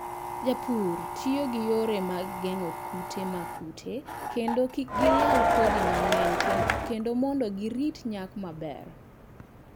Jopur tiyo gi yore mag geng'o kute mag kute mondo kik gilal kodhi mang'eny kendo mondo girit nyak maber.